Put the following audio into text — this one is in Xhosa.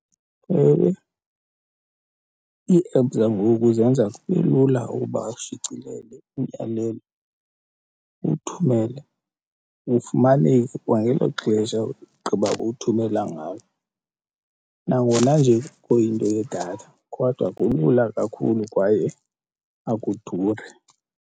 Ewe, ii-apps zangoku zenza kube lula ukuba ushicilele umyalelo uwuthumele, ufumaneke kwangelo xesha ugqiba kuwuthumela ngalo, nangona nje kuyinto yedatha kodwa kulula kakhulu kwaye akuduri.